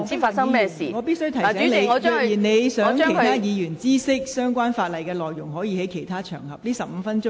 黃碧雲議員，我必須提醒你，如你想讓其他委員知悉有關條例草案的內容，你可在其他場合論述。